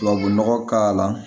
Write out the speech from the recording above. Tubabu nɔgɔ k'a la